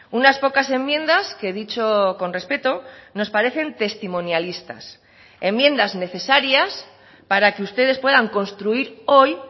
unas pocas enmiendas que dicho con respeto nos parecen testimonialistas enmiendas necesarias para que ustedes puedan construir hoy